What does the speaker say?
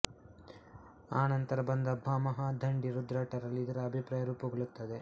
ಆನಂತರ ಬಂದ ಭಾಮಹ ದಂಡಿ ರುದ್ರಟರಲ್ಲಿ ಇದರ ಅಭಿಪ್ರಾಯ ರೂಪುಗೊಳ್ಳುತ್ತದೆ